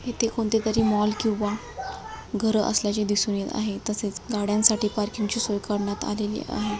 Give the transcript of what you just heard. येथे कोणत्यातरी मॉल किंवा घर असल्याचे दिसून येत आहे तसेच गाड्यांसाठी पार्किंग ची सोय करण्यात आली आहे.